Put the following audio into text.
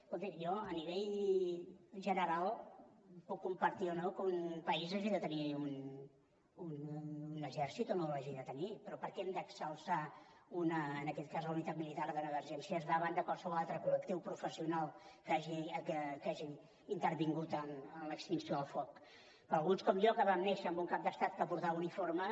escolti jo a nivell general puc compartir o no que un país hagi de tenir un exèrcit o no l’hagi de tenir però per què hem d’exalçar en aquest cas la unitat militar d’emergències davant de qualsevol altre collectiu professional que hagi intervingut en l’extinció del foc per alguns com jo que vam néixer amb un cap d’estat que portava uniforme